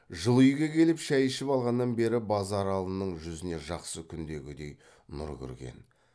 жылы үйге келіп шай ішіп алғаннан бері базаралының жүзіне жақсы күндегідей нұр кірген